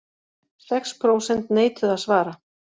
Sex prósent neituðu að svara